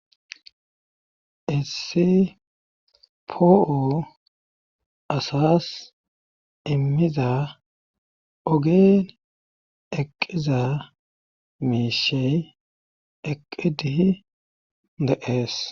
Essi po'o asas immiza ogen eqqiza miishey eqqidihi de'ees.